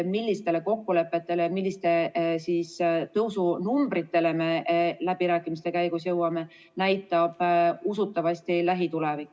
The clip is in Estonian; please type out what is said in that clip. Millistele kokkulepetele ja milliste tõusunumbritele me läbirääkimiste käigus jõuame, näitab usutavasti lähitulevik.